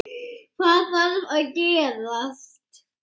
Hvað þarf að gerast?